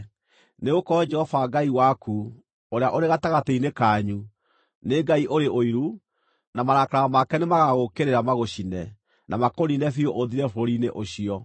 nĩgũkorwo Jehova Ngai waku, ũrĩa ũrĩ gatagatĩ-inĩ kanyu, nĩ Ngai ũrĩ ũiru, na marakara make nĩmagagũũkĩrĩra magũcine, na makũniine biũ ũthire bũrũri-inĩ ũcio.